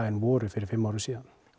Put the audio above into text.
en voru fyrir fimm árum síðan